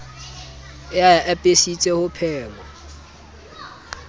e a apesitse ho phema